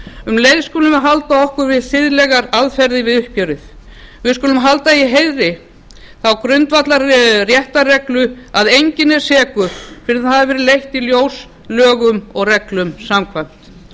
um leið skulum við halda okkur við siðlegar aðferðir við uppgjörið við skulum halda í heiðri þá grundvallarréttarreglu að enginn er sekur fyrr en það hefur verið leitt í ljós lögum og reglum samkvæmt